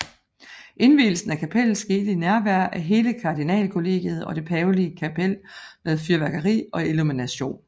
Indvielsen af kapellet skete i nærvær af hele kardinalkollegiet og det pavelige kapel med fyrværkeri og illumination